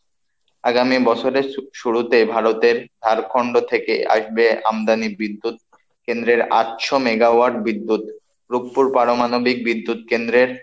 আগামী বছরের শুরুতে ভারতের ঝাড়খন্ড থেকে আসবে আমদানি বিদ্যুৎ কেন্দ্রের আটশো মেগাওয়াট বিদ্যুৎ রুকপুর পারমাণবিক বিদ্যুৎ কেন্দ্রের,